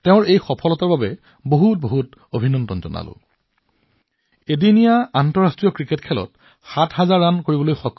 তেওঁ একমাত্ৰ আন্তৰ্জাতিক মহিলা খেলুৱৈ যিয়ে এদিনীয়া আন্তৰ্জাতিক খেলত সাত হাজাৰ ৰাণ কৰিছে